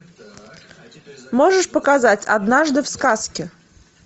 можешь показать однажды в сказке